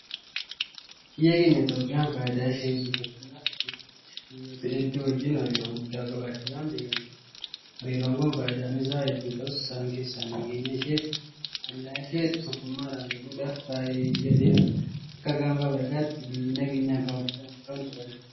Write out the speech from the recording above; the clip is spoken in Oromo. Biyyi keenya Itoophiyaan faayidaa ishee gabbifachuudhaaf jecha biyyoota hedduu wajjin hariiroo guddaa qabaachuudhaan beekamti. Hariiroon kun faayidaan isaa hedduu ta'us isaan keessaa nageenya isheefi hollaa ishee tokkummaadhaan eeguudhaaf fayyadeera. Akka gaanfa afriikaatti biyyi nageenya kabachiisuudhaan beekamtu kami?